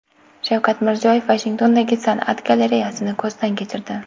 Shavkat Mirziyoyev Vashingtondagi san’at galereyasini ko‘zdan kechirdi.